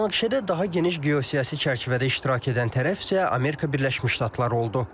Münaqişədə daha geniş geosiyasi çərçivədə iştirak edən tərəf isə Amerika Birləşmiş Ştatları oldu.